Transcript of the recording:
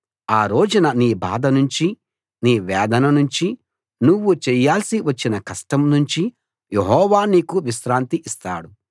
ఆ రోజున నీ బాధ నుంచి నీ వేదన నుంచి నువ్వు చెయ్యాల్సి వచ్చిన కష్టం నుంచి యెహోవా నీకు విశ్రాంతి ఇస్తాడు